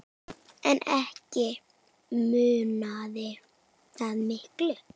En ekki munaði það miklu.